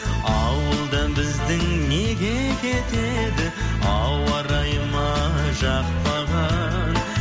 ауылдан біздің неге кетеді ауа райы ма жақпаған